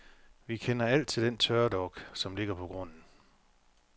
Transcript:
Vi kender alt til den tørdok, som ligger på grunden.